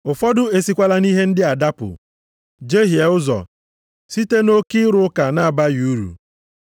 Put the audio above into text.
Ụfọdụ e sikwala nʼihe ndị a dapụ, jehie ụzọ, site nʼoke ịrụ ụka na-abaghị uru.